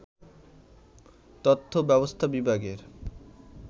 তথ্য ব্যবস্থা বিভাগের